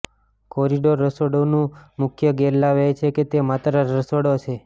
corridor રસોડુંનો મુખ્ય ગેરલાભ એ છે કે તે માત્ર રસોડા છે